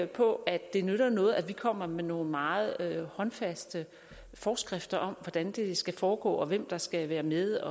på at det nytter noget at vi kommer med nogle meget håndfaste forskrifter om hvordan det skal foregå og hvem der skal være med